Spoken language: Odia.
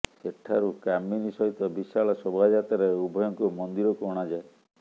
ସେଠାରୁ କାମିନୀ ସହିତ ବିଶାଳ ଶୋଭାଯାତ୍ରାରେ ଉଭୟଙ୍କୁ ମନ୍ଦିରକୁ ଅଣାଯାଏ